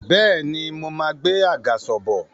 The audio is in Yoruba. Bẹ́ẹ̀ni, mo máa gbé àgàsọ̀ bọ̀